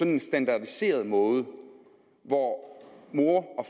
en standardiseret måde hvor mor